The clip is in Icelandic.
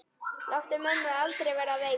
Láttu mömmu aldrei verða veika.